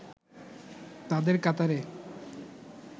তাদের কাতারে